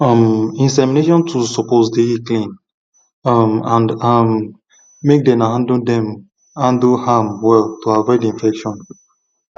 um insemination tools suppose dey clean um and um make dem handle dem handle am well to avoid infection